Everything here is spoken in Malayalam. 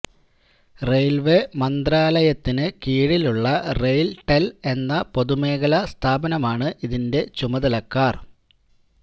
റെയിൽവേ മന്ത്രാലയത്തിന് കീഴിലുള്ള റെയിൽടെൽ എന്ന പൊതുമേഖല സ്ഥാപമാണ് ഇതിന്റെ ചുമതലക്കാർ